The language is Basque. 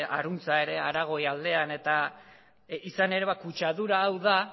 harantza ere aragoi aldean eta izan ere kutsadura hau da